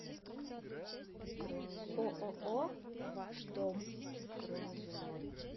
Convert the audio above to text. ооо ваш дом